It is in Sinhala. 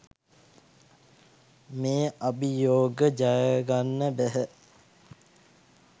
මේ අභියෝග ජයගන්න බැහැ.